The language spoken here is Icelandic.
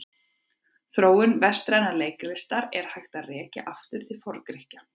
Þróun vestrænnar leiklistar er hægt að rekja aftur til Forngrikkja.